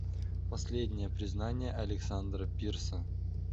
последнее признание александра пирса